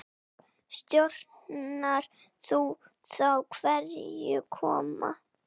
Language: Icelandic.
Stjórnar þú þá hverjir koma?